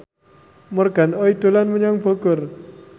Morgan Oey dolan menyang Bogor